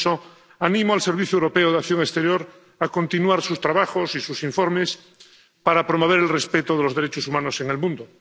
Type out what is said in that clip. Por eso, animo al Servicio Europeo de Acción Exterior a continuar sus trabajos y sus informes para promover el respeto de los derechos humanos en el mundo.